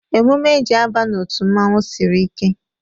Emume e ji e a ba n'otu mmanwu sịrị ike